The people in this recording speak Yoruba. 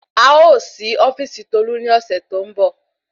A ó sí ofíìsì tolu ni ọ̀sẹ̀ tó ń bọ̀